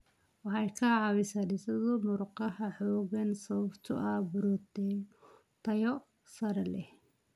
Waxay ka caawisaa dhisidda murqaha xooggan sababtoo ah borotiinno tayo sare leh.